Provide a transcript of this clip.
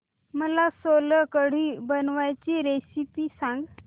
मला सोलकढी बनवायची रेसिपी सांग